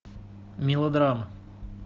мелодрама